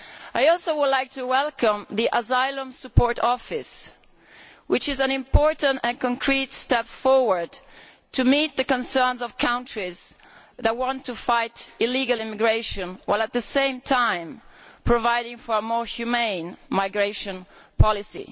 I also would like to welcome the Asylum Support Office, which is an important and concrete step towards meeting the concerns of countries that want to fight illegal immigration while, at the same time, providing for a more humane migration policy.